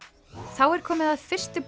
þá er komið að fyrstu